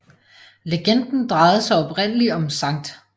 Legenden drejede sig oprindelig om Skt